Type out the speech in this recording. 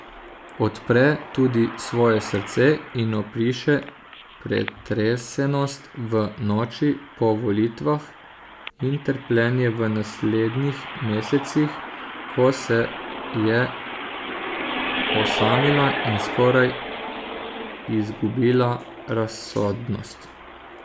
Odpre tudi svoje srce in opiše pretresenost v noči po volitvah in trpljenje v naslednjih mesecih, ko se je osamila in skoraj izgubila razsodnost.